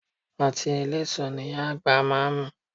Ọtí eléso ni Ìyá àgbà máa ń mu